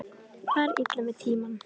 Fari illa með tímann.